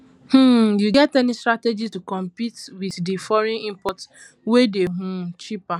um you get any strategy to compete with di foreign imports wey dey um cheaper